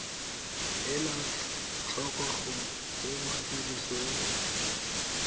ela tlhoko go tsenngwa tirisong